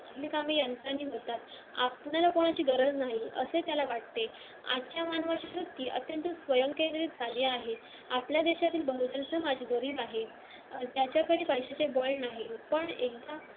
आपल्याला कोणाची गरज नाही असे त्याला वाटते आजच्या व्यक्ती अत्यंत स्वयंकेंद्रीय झाली आहे आपल्या देशातील